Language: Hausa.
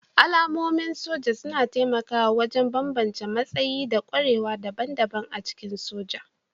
Alamomin soja suna taimakawa wajen bambance matsayi da ƙwarewa daban-daban a cikin soja